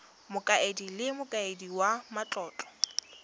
mokaedi le mokaedi wa matlotlo